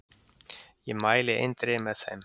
Ég mæli eindregið með þeim.